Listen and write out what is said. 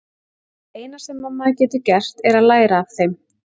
Það eina sem maður getur gert er að læra af þeim.